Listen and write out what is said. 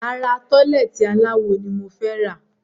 Rárá, tọ́lẹ́ẹ́tì aláwo ni mo fẹ́ rà.